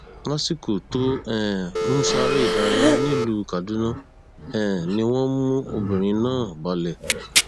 lásìkò tó um ń sáré ìdárayá nílùú kaduna um ni wọn mú ọmọbìnrin náà balẹ